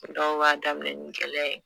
Dɔw b'a daminɛ ni gɛlɛya ye.